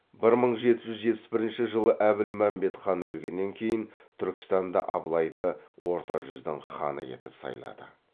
бір мың жеті жүз жетпіс бірінші жылы әбілмәмбет хан өлгеннен кейін түркістанда абылайды орта жүздің ханы етіп сайлады